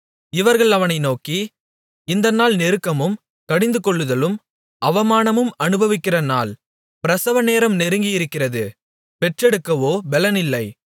இவர்கள் அவனை நோக்கி இந்த நாள் நெருக்கமும் கடிந்துகொள்ளுதலும் அவமானமும் அநுபவிக்கிற நாள் பிரசவநேரம் நெருங்கியிருக்கிறது பெற்றெடுக்கவோ பெலனில்லை